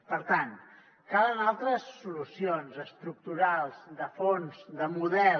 per tant calen altres solucions estructurals de fons de model